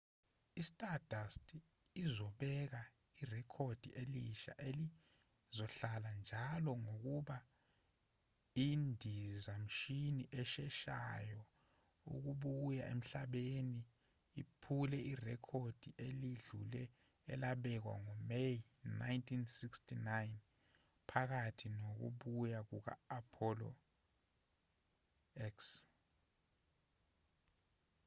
i-stardust uzobeka irekhodi elisha elizohlala-njalo ngokuba indizamshini esheshayo ukubuya emhlabeni iphule irekhodi eledlule elabekwa ngo-may 1969 phakathi nokubuya kuka-apollo x